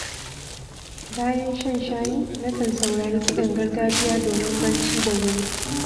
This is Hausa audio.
Bayan shan shayi, nakan saurari kiɗan gargajiya domin barci da wuri.